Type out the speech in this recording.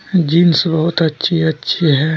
Jeans बहुत अच्छी अच्छी है।